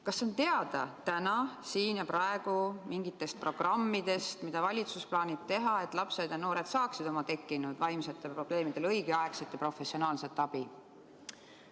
Kas on teada täna, siin ja praegu mingitest programmidest, mida valitsus plaanib teha, et lapsed ja noored saaksid oma tekkinud vaimsetele probleemidele õigeaegselt professionaalset abi?